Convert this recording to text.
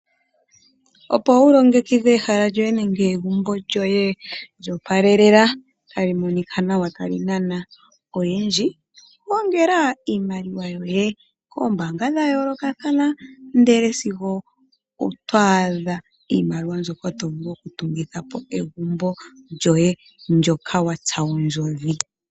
Opo wu longekidhe ehala nenge egumbo lyoye likake lyoooalelela tali monika nawa tali hili nokunana oyendji. Gongeka iimaliwa yoye koombaanga dha yoolokothana sigo otwaadha iimaliwa mbyoka to vuku okutungitha egumbo lyoye ndyoka watsa ondjodhi.